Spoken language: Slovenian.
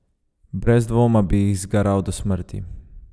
Brez dvoma bi jih zgaral do smrti.